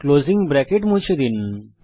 closing bracket মুছে ফেলুন